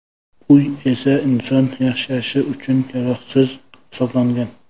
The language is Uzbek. Uy esa inson yashashi uchun yaroqsiz hisoblangan.